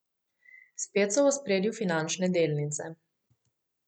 Spet so v ospredju finančne delnice.